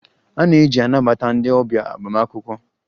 A na-eji anabata ndị ọbịa agbamakwụkwọ